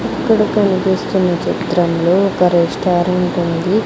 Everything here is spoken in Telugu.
ఇక్కడ కనిపిస్తున్న చిత్రంలో ఒక రెస్టారెంట్ ఉంది.